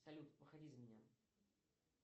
салют выходи за меня